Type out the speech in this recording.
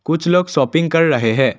कुछ लोग शापिंग कर रहे हैं।